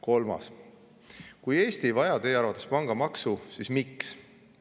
Kolmas: "Kui Eesti ei vaja Teie arvates pangamaksu, siis miks?